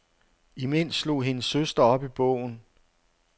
Imens slog hendes søster op i bogen.